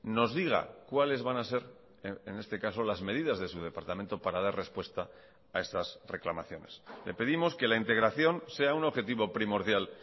nos diga cuales van a ser en este caso las medidas de su departamento para dar respuesta a estas reclamaciones le pedimos que la integración sea un objetivo primordial